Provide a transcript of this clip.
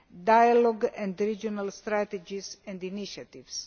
diagonal and regional strategies and initiatives.